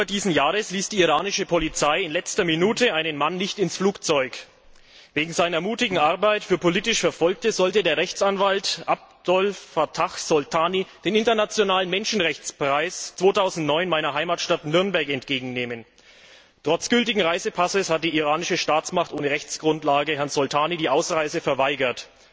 2. Oktober dieses Jahres ließ die iranische Polizei in letzter Minute einen Mann nicht ins Flugzeug. Wegen seiner mutigen Arbeit für politisch Verfolgte sollte der Rechtsanwalt Abdolfattah Soltani den internationalen Menschenrechtspreis 2009 in meiner Heimatstadt Nürnberg entgegennehmen. Trotz gültigen Reisepasses hat die iranische Staatsmacht ohne Rechtsgrundlage Herrn Soltani die Ausreise verweigert.